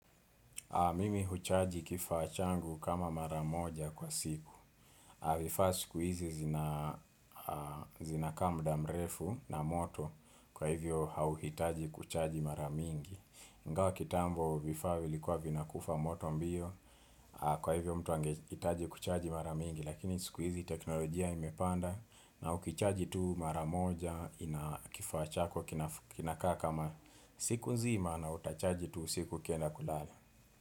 Mimi huchaji kifaa changu kama mara moja kwa siku. Vifaa siku hizi zinakaa muda mrefu na moto kwa hivyo hauhitaji kuchaji mara mingi. Ingawa kitambo vifaa vilikuwa vinakufa moto mbio kwa hivyo mtu angehitaji kuchaji mara mingi. Lakini siku hizi teknolojia imepanda na ukichaji tu mara moja kifaa chako kinakaa kama siku nzima na utachaji tu usiku ukienda kulala.